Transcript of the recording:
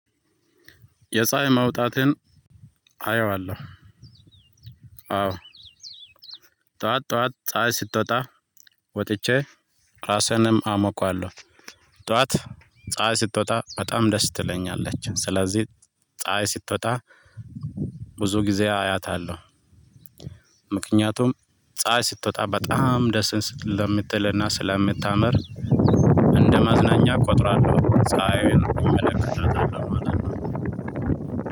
የፀሀይ መውጣትን አየዋለሁ። አዎ ጠዋት ጠዋት ፀሀይ ስትወጣ ወጥቼ ራሴንም አሞቀለሁ። ጠዋት ፀሀይ ስትወጣ በጣም ደስ ትለኛለች። ስለዚህ ፀሀይ ስትወጣ ብዙ ጊዜ አያታለሁ። ምክንያቱም ፀሀይ ስትወጣ በጣም ደስን ስለምትልና ስለምታምር። እንደመዝናኛ እቆጥራለሁ። ፀሀይን እመለከታታለሁ ማለት ነው።